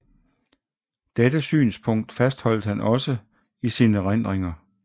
Dette synspunkt fastholdt han også i sine erindringer